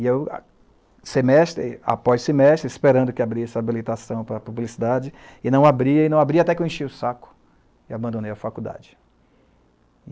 E eu, semestre, após semestre, esperando que abrisse a habilitação para a publicidade, e não abria, e não abria até que eu enchi o saco e abandonei a faculdade.